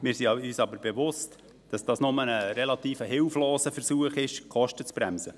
Wir sind uns aber bewusst, dass dies nur ein relativ hilfloser Versuch ist, die Kosten zu bremsen.